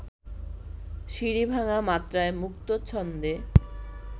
সিঁড়ি-ভাঙা মাত্রায় মুক্ত ছন্দে